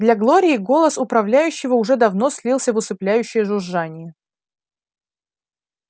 для глории голос управляющего уже давно слился в усыпляющее жужжание